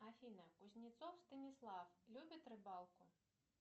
афина кузнецов станислав любит рыбалку